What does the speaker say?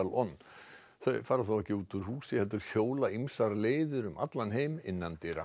on þau fara þó ekki út úr húsi heldur hjóla ýmsar leiðir um allan heim innandyra